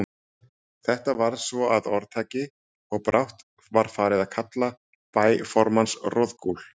Þetta varð svo að orðtaki, og brátt var farið að kalla bæ formanns Roðgúl.